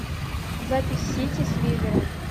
запись сити с ливером